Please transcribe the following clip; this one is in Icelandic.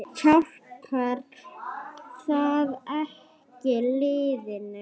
Hjálpar það ekki liðinu?